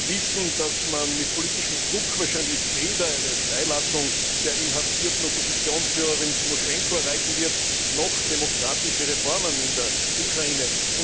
Wir alle wissen, dass man mit politischem Druck wahrscheinlich weder eine Freilassung der inhaftierten Oppositionsführerin Timoschenko erreichen wird noch demokratische Reformen in der Ukraine.